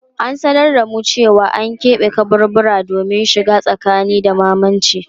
An sanar da mu cewa an kebe kaburbura domin shiga tsakani da mamacin.